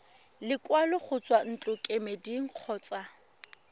lekwalo go tswa ntlokemeding kgotsa